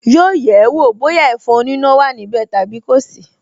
Yóò yẹ̀ ẹ́ wọ̀ bóyá ẹ̀fọn oníná wà níbẹ̀ tàbí kò sí